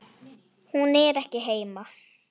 Hún er ekki heima.